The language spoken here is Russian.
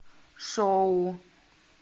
шоу